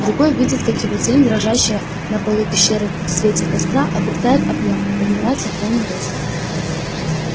другой видит как его тень дрожащая на полу пещеры в свете костра обретает объём и поднимается в полный рост